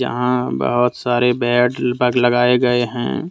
यहां बहुत सारे बेड लगाए गए हैं।